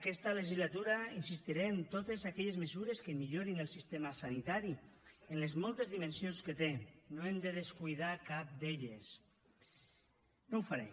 aquesta legislatura insistiré en totes aquelles mesures que millorin el sistema sanitari en les moltes dimensions que té no n’hem de descuidar cap no ho faré